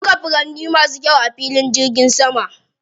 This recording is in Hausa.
An shuka furanni masu kyau a filin jirgin saman.